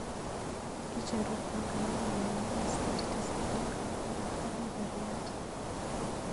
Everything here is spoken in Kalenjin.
Icheruu panganenyu nebo sait tisap ak kabeberyat